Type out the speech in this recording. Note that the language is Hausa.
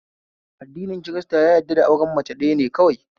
Addini kiristoci yadda da auren mace ɗaya ne kawai